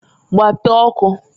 Gbapee ọkụǃ